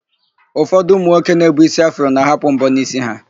Ụfọdụ ụmụnwoke na-ebu ísí afro na-ahapụ m̀bọ́ n'ísí ha.